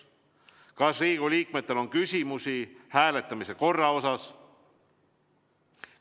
Kas Riigikogu liikmetel on küsimusi hääletamise korra kohta?